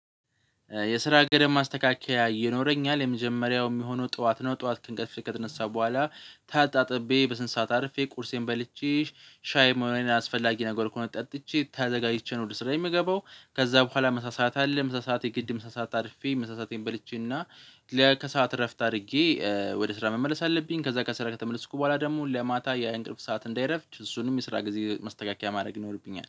የስራ ገደብ ማስተካከያ ይኖረኝል የመጀመሪያው የሚሆነው ጠዋት ነው ጠዋት ከእንቅልፍ ከተነሰሁ በኋላ ተጣጥቤ በስነሥርዓት አርፌ ቁርሴን በልቼ ሻይም ሆነ ሌላ አስፈላጊ ነገር ከሆነ ጠጥቼ ተዘጋጅቼ ነው ወደ ስራዬ የምገባው። ከዛ በኋላ ምሳ ሰዓት አለ ምሳ ሰዓት የግድ ምሳ ሰዓት አርፌ ምሳዬን በልቼና የከሰአት እረፍት አድርጌ ወደ ስራ መመለስ አለብኝ። ከዛ ከሰራዬ ከተመለስኩ በኋላ ደግሞ ለማታ የእንቅልፍ ሰዓት እንዳይረፍድ እሱንም የስራ ጊዜ መስተካከያ ማድረግ ይኖርብኛል